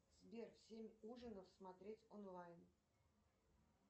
сбер семь ужинов смотреть онлайн